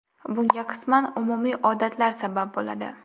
Bunga qisman umumiy odatlar sabab bo‘ladi.